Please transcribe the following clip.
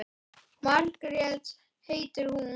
Margrét heitir hún.